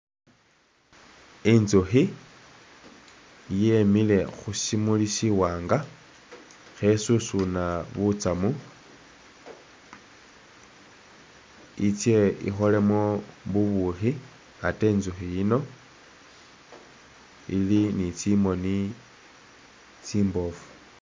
Intsukhi yemile khushimuli shiwanga khe susuna butsamu itse ikholemo bubukhi ate intsukhi yino ili ni tsimoni tsimbofu.